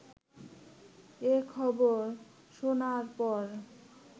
এ খবর শোনার পর